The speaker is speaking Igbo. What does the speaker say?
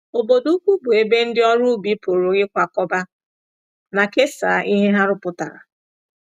Obodo ukwu bụ ebe ndị ọrụ ubi pụrụ ịkwakọba na kesaa ihe ha rụpụtara.